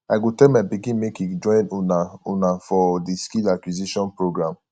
i go tell my pikin make e join una una for the skill acquisition program